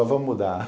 Ô, vamos mudar!